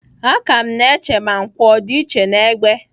Aka m na-eche ma nkwọ ọ dị iche n'egbe..